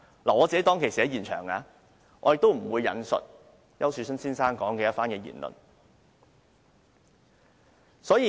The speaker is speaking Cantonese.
我當天在現場，但我不會引述丘樹春先生的言論。